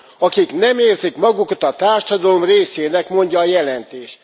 Akik nem érzik magukat a társadalom részének, mondja a jelentés.